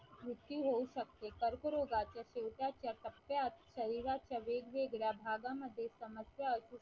वृत्ती होऊ शकते कर्करोगाचे शेवटचे टप्प्यात शरीरात वेगवेगळ्या भागामध्ये समस्या असू शकते.